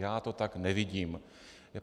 Já to tak nevidím.